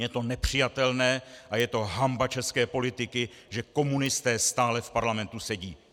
Je to nepřijatelné a je to hanba české politiky, že komunisté stále v Parlamentu sedí!